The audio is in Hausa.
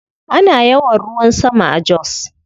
Ana yawan ruwan sama a Jos.